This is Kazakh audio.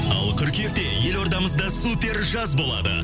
ал қыркүйекте елордамызда супер жаз болады